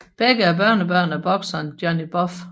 Begge er børnebørn af bokseren Johnny Buff